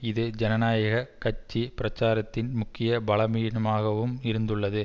இது ஜனநாயக கட்சி பிரச்சாரத்தின் முக்கிய பலவீனமாகவும் இருந்துள்ளது